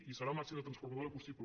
i serà el màxim de transformadora possible